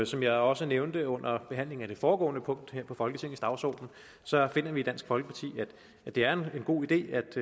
som jeg også nævnte under behandlingen af det foregående punkt her på folketingets dagsorden finder vi i dansk folkeparti at det er en god idé